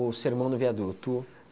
Sermão do Viaduto.